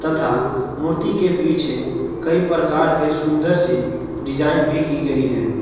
मूर्ति के पीछे कई प्रकार के सुंदर से डिजाइन भी की गई है।